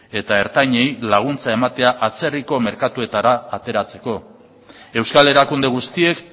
eta ertainei laguntza ematea atzerriko merkatura ateratzeko euskal erakunde guztiek